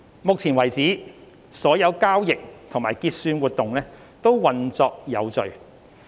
目前為止，所有交易及結算活動均運作有序。